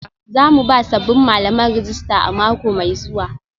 Za mu ba sabbin malaman rajista a mako mai zuwa